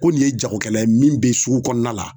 Ko nin ye jagokɛla ye min bɛ sugu kɔnɔna la